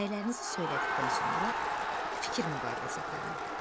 Rəylərinizi söylədikdən sonra fikir mübadiləsi aparın.